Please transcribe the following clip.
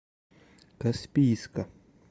каспийска